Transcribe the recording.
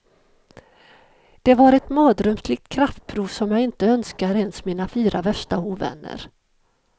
Det var ett mardrömslikt kraftprov som jag inte önskar ens mina fyra värsta ovänner.